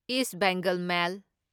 ꯏꯁ Bengal ꯃꯦꯜ